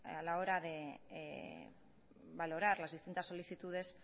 a la hora de valorar las distintas solicitudes